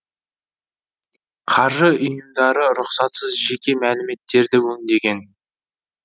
қаржы ұйымдары рұқсатсыз жеке мәліметтерді өңдеген